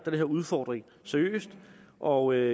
udfordring seriøst og jeg